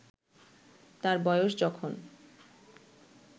তার বয়স যখন